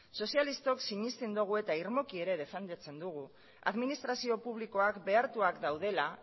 sozialistok sinesten dugu eta irmoki ere defendatzen dugu administrazio publikoak behartuak daudela